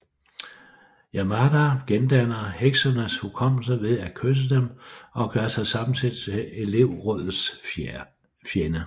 Yamada gendanner heksenes hukommelse ved at kysse dem og gør sig samtidig til elevrådets fjende